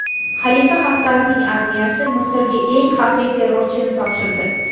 Xalifa Xaftarning armiyasi Misrga eng xavfli terrorchini topshirdi.